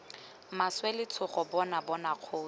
maswe letshogo bona bona kgosi